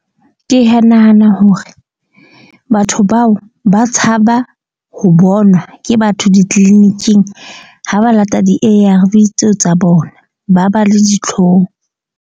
Ke ya nahana hore batho bao ba tshaba ho bonwa ke batho di-clinic-ing ha ba lata di-A_R_V tseo tsa bona ba ba le ditlhong.